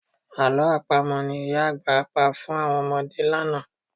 Àlọ́ Àpamọ̀ ni ìyá àgbà pa fún àwọn ọmọdé lánàá